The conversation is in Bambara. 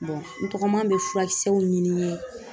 n tɔgɔma bɛ furakisɛw ɲini n ye ,